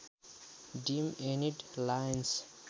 dam Enid Lions